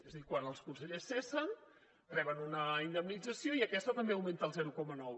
és a dir quan els consellers cessen reben una indemnització i aquesta també augmenta el zero coma nou